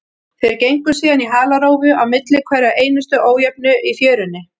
Þeir gengu síðan í halarófu á milli hverrar einustu ójöfnu í fjörunni.